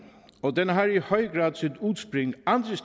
og den har i høj grad